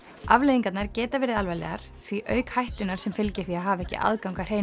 afleiðingarnar geta verið alvarlegar því auk hættunnar sem fylgir því að hafa ekki aðgang að hreinu